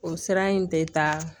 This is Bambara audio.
O sira in tɛ taa